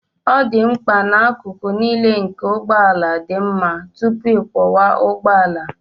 Ọ dị mkpa na akụkụ niile nke ụgbọ ala dị mma tupu ịkwọwa ụgbọ ala